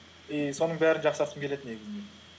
и соның бәрін жақсартқым келеді негізінде